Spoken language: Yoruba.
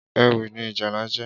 Éwì ni ìjálá jè